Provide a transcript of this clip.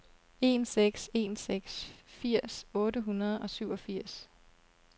en seks en seks firs otte hundrede og syvogfirs